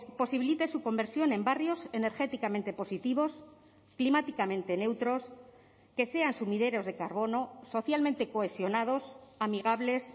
posibilite su conversión en barrios energéticamente positivos climáticamente neutros que sean sumideros de carbono socialmente cohesionados amigables